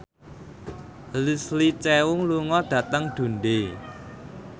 Leslie Cheung lunga dhateng Dundee